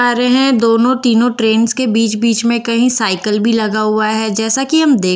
आ रहे है दोनों तीनों ट्रेंस के बीच बीच में कही साइकल भी लगा हुआ है जैसा कि हम दे--